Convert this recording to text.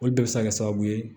Olu bɛɛ bɛ se ka kɛ sababu ye